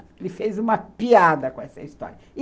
Ele fez uma piada com essa história.